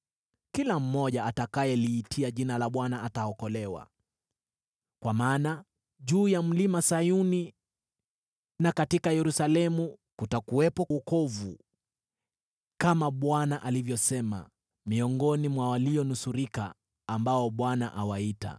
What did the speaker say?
Na kila mtu atakayeliitia jina la Bwana ataokolewa. Kwa maana juu ya Mlima Sayuni na katika Yerusalemu kutakuwepo wokovu, kama Bwana alivyosema, miongoni mwa walionusurika ambao Bwana awaita.